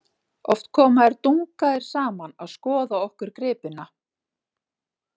Oft koma þeir Dungaður saman að skoða okkur gripina.